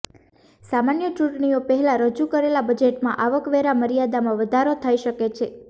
સામાન્ય ચૂંટણીઓ પહેલાં રજૂ કરેલા બજેટમાં આવકવેરા મર્યાદામાં વધારો થઈ શકે છે